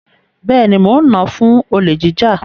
Bẹ́ẹ̀ni, mo nà án fún olè jíjà.